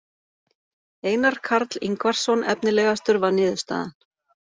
Einar Karl Ingvarsson efnilegastur var niðurstaðan.